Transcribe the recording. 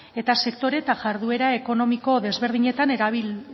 eta sektore eta jarduera ekonomiko desberdinetan erabil